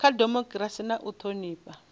kha dimokirasi na u thonifha